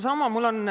Inimkesksus.